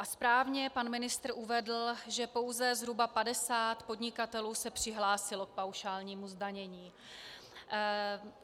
A správně pan ministr uvedl, že pouze zhruba 50 podnikatelů se přihlásilo k paušálnímu zdanění.